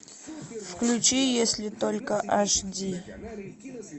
включи если только аш ди